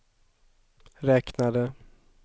räknade